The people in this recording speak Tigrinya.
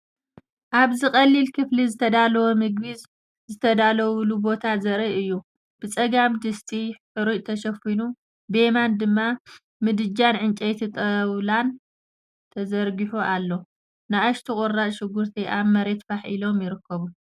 ኣብዚ ቀሊል ክፍሊ ዝተዳለወ ምግቢ ዝዳለወሉ ቦታ ዘርኢ እዩ፤ ብጸጋም ድስቲ ሓርጭ ተሸፊኑ፡ ብየማን ድማ ምድጃ ዕንጨይቲን ጣውላን ተዘርጊሑ ኣሎ። ንኣሽቱ ቁራጽ ሽጉርቲ ኣብ መሬት ፋሕ ኢሎም ይርከቡ።